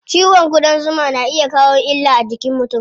Cizon ƙudan zuma na iya kawo illa a jikin mutum.